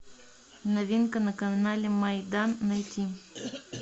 новинка на канале майдан найти